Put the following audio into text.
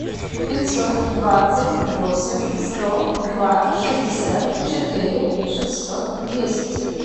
пятьсот двадцать восемь сто два шестьдесят четыре шестьсот десять